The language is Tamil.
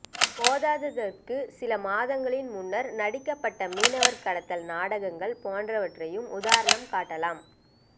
போதாதற்கு சில மாதங்களின் முன்னர் நடிக்கப்பட்ட மீனவர் கடத்தல் நாடகங்கள் போன்றவற்றையும் உதாரணம் காட்டலாம்